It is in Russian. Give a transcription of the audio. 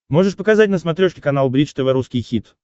можешь показать на смотрешке канал бридж тв русский хит